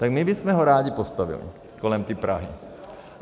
Tak my bychom ho rádi postavili kolem tý Prahy.